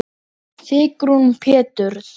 Sigrún Péturs.